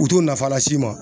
U t'u nafa las'i ma.